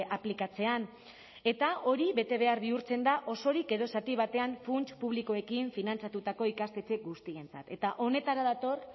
aplikatzean eta hori betebehar bihurtzen da osorik edo zati batean funts publikoekin finantzatutako ikastetxe guztientzat eta honetara dator